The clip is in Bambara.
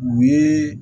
U ye